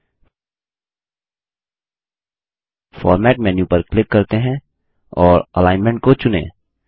format format menu पर click करते हैं और Alignmentअलाइनमेंट को चुनें